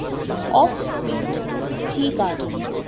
Ofbit the Garden